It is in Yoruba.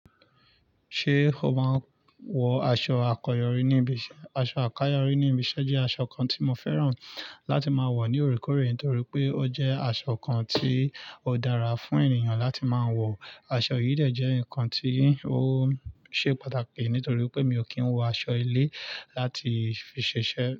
Ṣé o máa ń wọ aṣọ àkọ́yọrí ní ibiṣẹ́? Aṣọ àkọ́yọrí ní ibiṣẹ́ jẹ́ aṣọ kan tí mo fẹ́ràn láti máa wọ̀ ní ore kore torí pé ó jẹ́ aṣọ kan tí ó dára fún ènìyàn láti máa ń wọ̀. Aṣọ yìí dẹ̀ jẹ́ ǹkan tí ó ṣe pàtàkì nítorí pé mi ò kí ń wọ aṣọ ilé láti fi ṣiṣẹ́.